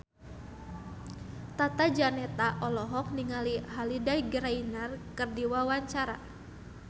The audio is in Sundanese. Tata Janeta olohok ningali Holliday Grainger keur diwawancara